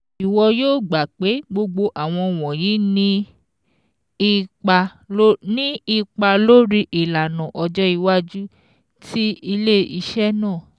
ìwọ yóò gbà pé gbogbo àwọn wọ̀nyí ní ipa lórí ìlànà ọjọ́ iwájú tí ilé-iṣẹ́ náà